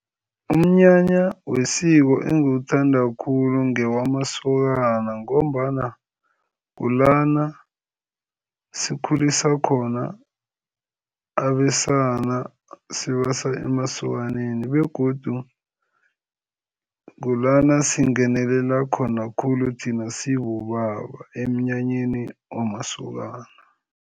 Umnyanya wesiko engiwuthanda khulu ngewamasokana ngombana kulana sikhulisa khona abesana, sibasa emasokaneni begodu kulana singenela khona khulu thina sibobaba, emnyanyeni wamasokana.